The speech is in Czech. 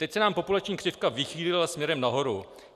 Teď se nám populační křivka vychýlila směrem nahoru.